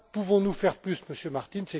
Pouvons nous faire plus, Monsieur Martin?